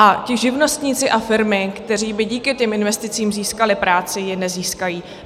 A ti živnostníci a firmy, kteří by díky těm investicím získali práci, ji nezískají.